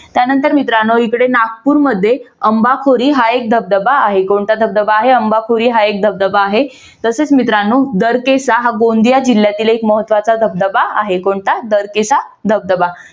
त्यानंतर मित्रांनो इकडे नागपूर मध्ये अम्बाखोरी हा एक धबधबा आहे. कोणता धबधबा आहे? अम्बाखोरी हा एक धबधबा आहे. तसेच मित्रानो दरकेसा हा गोंदिया जिल्ह्यातील हा एक महत्वाचा धबधबा आहे. कोणता? दरकेसा धबधबा.